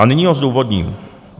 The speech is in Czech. A nyní ho zdůvodním.